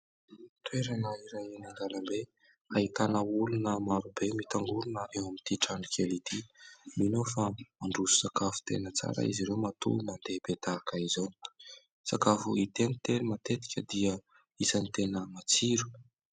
Toerana iray eny an-dalambe ahitana olona marobe mitangorona eo amin' ity trano kely ity. Mino aho fa mandroso sakafo tena tsara izy ireo matoa mandeha be tahaka izao ; sakafo hita eny tena matetika dia isany tena matsiro.